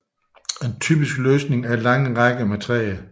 En typisk løsning er lange rækker med træer